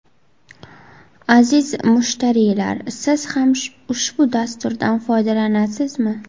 Aziz mushtariylar, siz ham ushbu dasturdan foydalanasizmi?